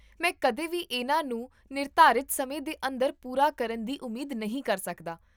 ਮੈਂ ਕਦੇ ਵੀ ਇਹਨਾਂ ਨੂੰ ਨਿਰਧਾਰਿਤ ਸਮੇਂ ਦੇ ਅੰਦਰ ਪੂਰਾ ਕਰਨ ਦੀ ਉਮੀਦ ਨਹੀਂ ਕਰ ਸਕਦਾ